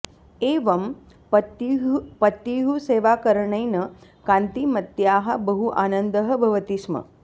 एवं पत्युः सेवाकरणेन कान्तिमत्याः बहु आनन्दः भवति स्म